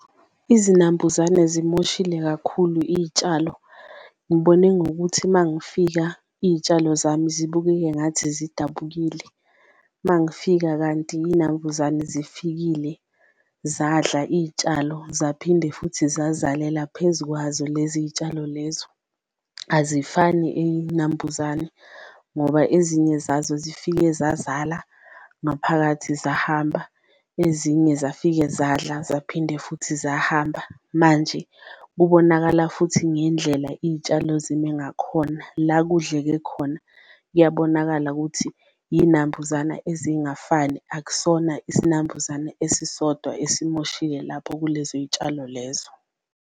Izinambuzane zimoshile kakhulu iyitshalo ngibone ngokuthi mangifika iyitshalo zami zibukeke ngathi zidabukile, mangifika kanti iyinambuzane zifikile zadla iyitshalo zaphinde futhi zazalela phezu kwazo lezi y'tshalo lezo. Azifani iyinambuzane ngoba ezinye zazo zifike zazala ngaphakathi zahamba, ezinye zafika zadla zaphinde futhi zahamba, manje kubonakala futhi ngendlela iy'tshalo zime ngakhona. La kudleke khona kuyabonakala kuthi inambuzana ezingafani, akusona isinambuzane esisodwa esimoshile lapho kulezo y'tshalo lezo.